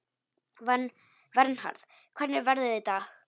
Vernharð, hvernig er veðrið í dag?